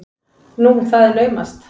Nú, það er naumast!